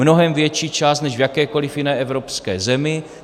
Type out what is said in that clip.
Mnohem větší část než v jakékoliv jiné evropské zemi.